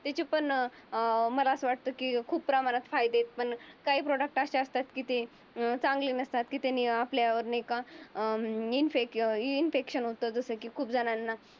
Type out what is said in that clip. त्याची पण अं मला असं वाटत की खूप प्रमाणात फायदे आहे. पण काही प्रॉडक्ट असे असतात की ते चांगले नसतात. कि त्यानि आपल्यावर नाही का अं इनफेक इन्फेक्शन होतं जसं की खूप झणांना?